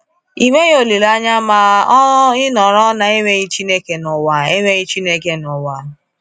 Ị nweghị olileanya ma ọ ịnọrọ na enweghị Chineke n’ụwa. enweghị Chineke n’ụwa.